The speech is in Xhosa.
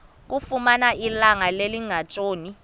kamfumana ilanga lingekatshoni